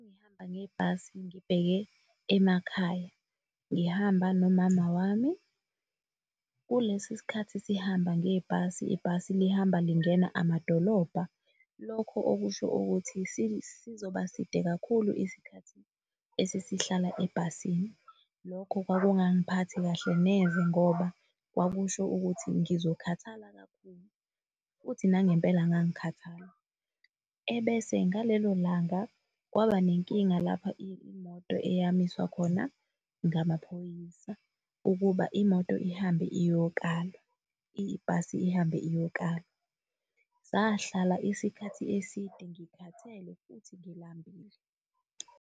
bengihamba ngebhasi ngibheke emakhaya, ngihamba nomama wami kulesi sikhathi sihamba ngebhasi ibhasi lihamba lingena amadolobha. Lokho okusho ukuthi sizoba side kakhulu isikhathi esisihlala ebhasini. Lokho kwakungang'phathi kahle neze ngoba kwakusho ukuthi ngizokhathala kakhulu futhi nangempela ngangikhathala, ebese ngalelo langa kwaba nenkinga lapha imoto eyamiswa khona ngamaphoyisa ukuba imoto ihambe iyokalwa, ibhasi ihambe iyokalwa. Sahlala isikhathi eside ngikhathele futhi ngilambile.